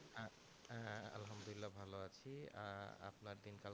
হ্যাঁ হ্যাঁ আল্লাহামদুল্লিয়া ভালো আছি আহ আপনার দিন কাল